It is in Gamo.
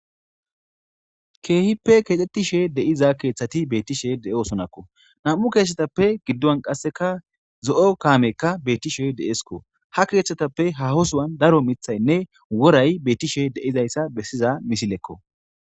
Keehippe keexxettishe de7iza keeththati beettishe de7osonakko nam7u keessetappe giddon qasseka zo7o kaamekka beettishe deesko ha keeththatappe hahosuwan daro mithaynne woray beettishe deizayssa bessiza misilekko